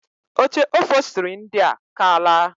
Oche ofostiri ndia a kaala.